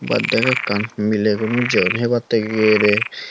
baddey kekkan mileguno jeyon hebattey gerey.